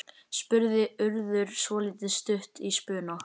spurði Urður svolítið stutt í spuna.